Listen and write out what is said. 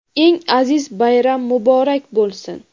eng aziz bayram muborak bo‘lsin!.